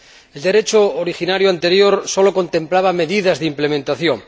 El Derecho originario anterior solo contemplaba medidas de ejecución.